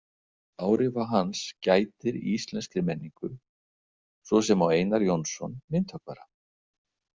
Áhrifa hans gætir í íslenskri menningu, svo sem á Einar Jónsson myndhöggvara.